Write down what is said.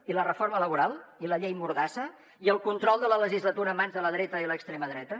i la reforma laboral i la llei mordassa i el control de la legislatura en mans de la dreta i l’extrema dreta